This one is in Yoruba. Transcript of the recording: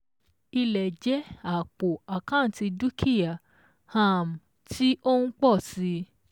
Ilẹ̀ jẹ́ àpò àkántì dúkìá um tí ó ń pọ̀ si